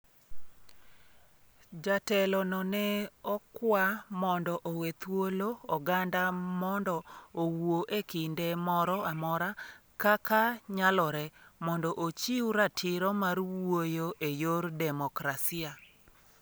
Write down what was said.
Jatelo no ne okwa mondo owe thuolo oganda mondo owuo e kinde moro amora kaka nyalore mondo ochiw ratiro mar wuoyo e yor demokrasia